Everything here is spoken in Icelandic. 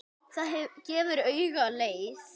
Það gefur auga leið.